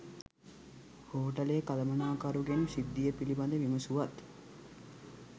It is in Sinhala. හෝටලය කළමනාකරුගෙන් සිද්ධිය පිළිබඳ විමසුවත්